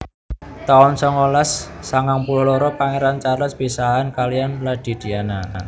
taun songolas sangang puluh loro Pangéran Charles pisahan kaliyan Lady Diana